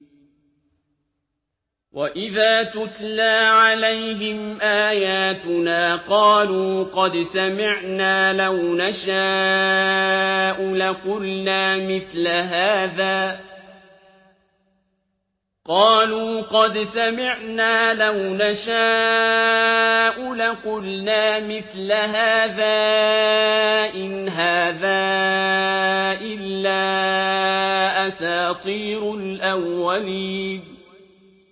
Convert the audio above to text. وَإِذَا تُتْلَىٰ عَلَيْهِمْ آيَاتُنَا قَالُوا قَدْ سَمِعْنَا لَوْ نَشَاءُ لَقُلْنَا مِثْلَ هَٰذَا ۙ إِنْ هَٰذَا إِلَّا أَسَاطِيرُ الْأَوَّلِينَ